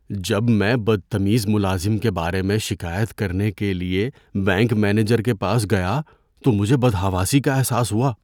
جب میں بدتمیز ملازم کے بارے میں شکایت کرنے کے لیے بینک مینیجر کے پاس گیا تو مجھے بدحواسی کا احساس ہوا۔